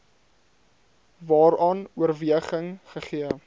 waaraan oorweging gegee